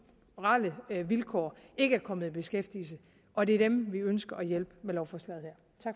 vilkår ikke er kommet i beskæftigelse og det er dem vi ønsker at hjælpe med lovforslaget